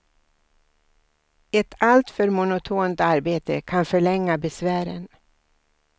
Ett alltför monotont arbete kan förlänga besvären.